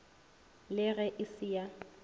le ge e se ya